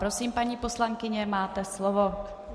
Prosím, paní poslankyně, máte slovo.